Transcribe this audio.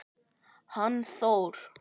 Hann Þór?